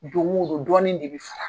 Don o don dɔɔnin de bɛ fara